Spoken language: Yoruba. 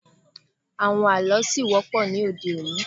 Àwọn àlọ́ ṣì wọ́pọ̀ ní òde-òní.